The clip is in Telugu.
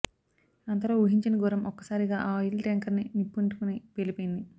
అంతలో ఊహించని ఘోరం ఒక్కసారిగా ఆ ఆయిల్ టాంకర్ కి నిప్పంటుకొని పేలిపోయింది